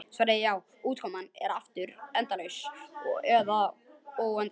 Svarið er já, og útkoman er aftur endalaust eða óendanlegt.